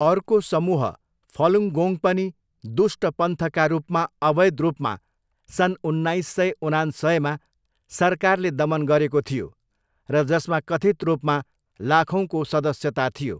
अर्को समूह, फलुङगोङ्ग पनि 'दुष्ट पन्थ'का रूपमा अवैध रूपमा सन् उन्नाइस सय उनान्सयमा सरकारले दमन गरेको थियो र जसमा कथित रूपमा लाखौँको सदस्यता थियो।